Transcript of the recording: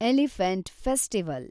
elephant festival